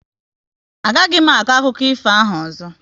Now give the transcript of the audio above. A gaghị m akọ akụkọ ifo ahụ ọzọ